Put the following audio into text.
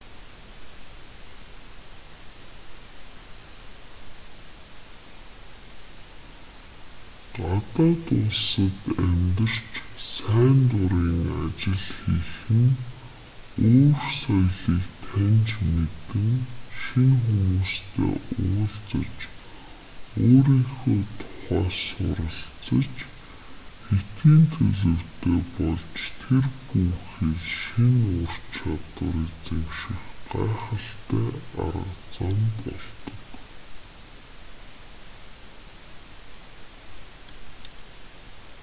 гадаад улсад амьдарч сайн дурын ажил хийх нь өөр соёлыг таньж мэдэн шинэ хүмүүстэй уулзаж өөрийнхөө тухай суралцаж хэтийн төлөвтэй болж тэр бүү хэл шинэ ур чадвар эзэмших гайхалтай арга зам болдог